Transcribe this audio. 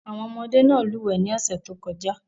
Àwọn ọmọdé náà lúwẹ̀ẹ́ ní ọ̀sẹ̀ tó kọjá.